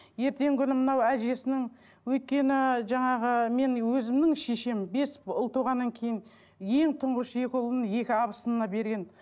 ертеңгі күні мынау әжесінің өйткені жаңағы мен өзімнің шешем бес ұл туғаннан кейін ең тұңғыш екі ұлын екі абысынына берген